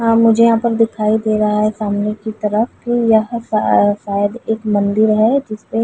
हाँ मुझे यहाँ पर दिखाई दे रहा है सामने की तरफ यह शाय शायद एक मंदिर है जिसपे --